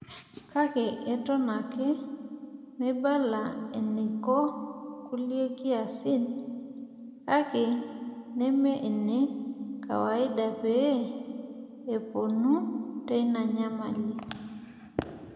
kake, eton ake meibala eneiko kulie kiasin ake neme ine kawaida, pee epuonu teina nyamali.